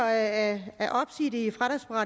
at